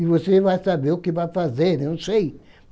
E você vai saber o que vai fazer, não sei.